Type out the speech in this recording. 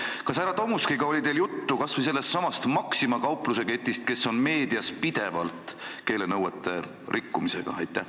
Kas teil härra Tomuskiga oli juttu kas või sellestsamast Maxima kaupluseketist, kes on meedias pidevalt jutuks olnud keelenõuete rikkumise tõttu?